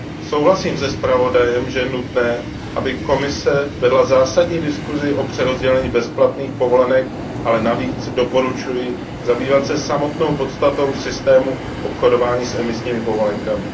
Souhlasím se zpravodajem, že je nutné, aby Komise vedla zásadní diskusi o přerozdělení bezplatných povolenek, ale navíc doporučuji zabývat se samotnou podstatou systému obchodování s emisními povolenkami.